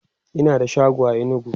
Ina da shago a inugu